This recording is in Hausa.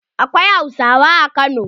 Akwai Hausawa a Kano.